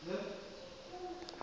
e be e le fela